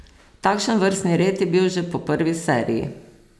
Takšen vrstni red je bil že po prvi seriji.